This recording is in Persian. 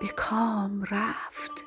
به کام رفت